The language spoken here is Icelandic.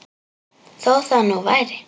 Þó það nú væri.